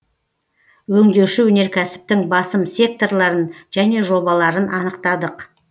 өңдеуші өнеркәсіптің басым секторларын және жобаларын анықтадық